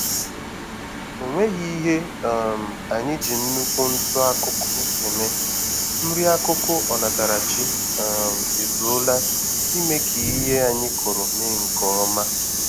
O nweghi ihe um anyị ji nnukwu ntụ-akụkụ eme, nri-akụkụ onatarachi um ezuola ime k'ihe anyị kụrụ mee nkè ọma